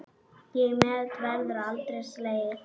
Það met verður aldrei slegið.